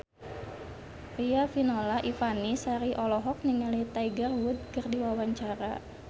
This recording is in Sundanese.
Riafinola Ifani Sari olohok ningali Tiger Wood keur diwawancara